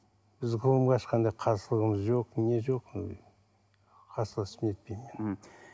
біз ғылымға ешқандай қарсылығымыз жоқ не жоқ қарсыласып нетпеймін енді